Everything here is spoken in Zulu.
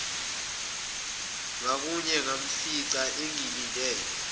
ngakuye ngamfica engilindele